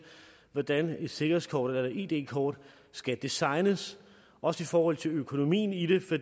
hvordan et sikkerhedskort eller et id kort skal designes også i forhold til økonomien i det for